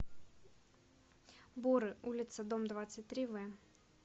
боры улица дом двадцать три в